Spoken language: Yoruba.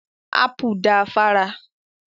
Ápù da fára.